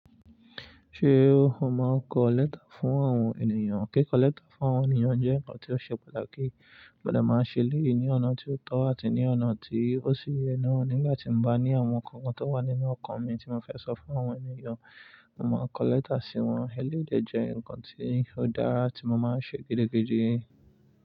Ṣé o máa ń kọ letter fún àwọn ènìyàn? Kí kọ lẹ́tà fún àwọn ènìyàn jẹ́ nǹkan tí ó ṣe pàtàkì, mo dẹ̀ máa ń ṣe eléyìí ní ọ̀nà tí ó tọ́ àti ní ọ̀nà tí ó ṣì yé náà. Nígbà tí mo bá ní àwọn ǹkan kan tó wà nínú ọkàn mi tí mo fẹ́ sọ fún àwọn ènìyàn, màá kọ lẹ́tà sí wọn. Eléyì dẹ̀ jẹ́ ǹkan tí ó dára tí mo máa ń ṣe gidigidi.